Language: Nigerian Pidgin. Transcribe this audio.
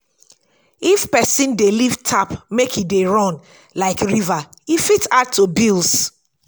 if person dey leave tap make e dey run like river e fit add to bills